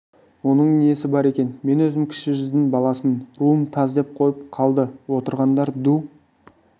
оның несі бар екен мен өзім кіші жүздің баласымын руым таз деп қойып қалды отырғандар ду